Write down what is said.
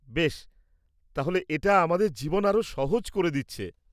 বেশ, তাহলে এটা আমাদের জীবন আরও সহজ করে দিচ্ছে।